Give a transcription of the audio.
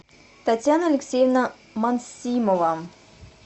татьяна алексеевна мансимова